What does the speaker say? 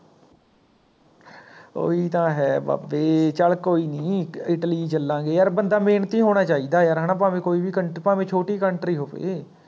ਓਹੀ ਤਾਂ ਹੈ ਬਾਬੇ ਚੱਲ ਕੋਈ ਨੀ, ਇਟਲੀ ਚਲਾਂਗੇ ਯਾਰ ਬੰਦਾ ਮੇਹਨਤੀ ਹੋਣਾ ਚਾਹੀਦਾ ਯਾਰ ਹੈਨਾ ਭਾਵੇਂ ਕੋਈ ਵੀ country ਭਾਵੇਂ ਛੋਟੀ Country ਹੋਵੇ